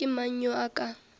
ke mang yo a ka